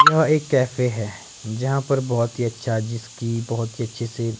यह एक कैफ़े है यहां पर बहुत ही अच्छा जिसकी बहुत ही अच्छी सी--